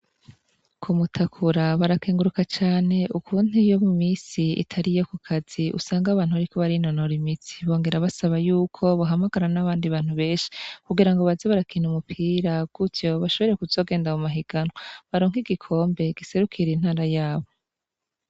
Kumutakura barakenguruka cane ukuntu iyo mumisi itariyo kukazi usanga abantu bariko barinonora imitsi, bongera basaba yuko bohamagara nabandi bantu beshi, kugirango baze barakina umupira gutyo bashobore kuzogenda mumahiganwa baronke igikombe giserukira intara yabo.